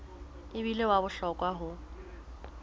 e bile wa bohlokwa ho